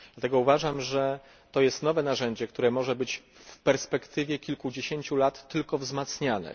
Dlatego uważam, że jest to nowe narzędzie, które może być w perspektywie kilkudziesięciu lat tylko wzmacniane.